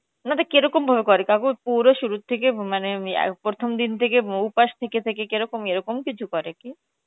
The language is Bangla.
আপনাদের কেরকম ভাবে করে কাকু পুরো শুরু থেকে মানে, প্রথম দিন থেকে উপাস থেকে থেকে এরকম কিছু করে কি?